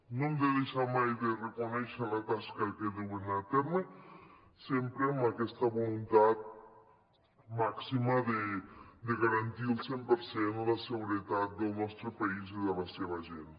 no hem de deixar mai de reconèixer la tasca que duen a terme sempre amb aquesta voluntat màxima de garantir al cent per cent la seguretat del nostre país i de la seva gent